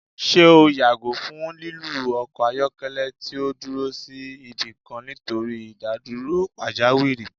Ṣe o yago fun lilu ọkọ ayọkẹlẹ ti o duro si ibikan nitori idaduro pajawiri?